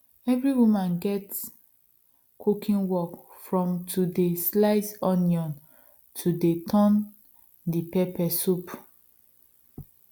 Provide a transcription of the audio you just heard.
every woman gets cooking work from to dey slice onions to dey turn the pepper soup